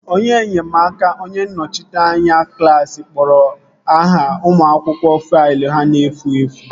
Onye nnyemaaka onye nnọchiteanya klaasị kporo aha ụmụ akwụkwọ faịlụ ha na-efu efu